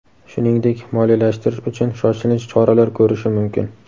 shuningdek moliyalashtirish uchun "shoshilinch choralar" ko‘rishi mumkin.